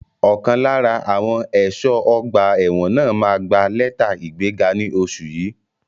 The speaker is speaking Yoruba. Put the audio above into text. Ọ̀kan lára àwọn ẹ̀ṣọ́ ọgbà ẹ̀wọ̀n náà máa gbà lẹ́tà ìgbẹ́ga ní oṣù yìí.